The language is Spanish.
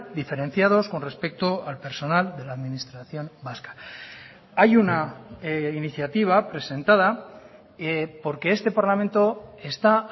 diferenciados con respecto al personal de la administración vasca hay una iniciativa presentada porque este parlamento está